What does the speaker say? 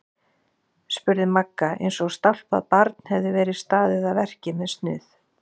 spurði Magga eins og stálpað barn hefði verið staðið að verki með snuð.